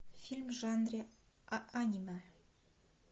фильм в жанре аниме